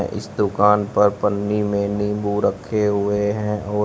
ये इस दुकान पर पन्नी में नींबू रखे हुए हैं और--